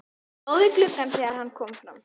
Hún stóð við gluggann þegar hann kom fram.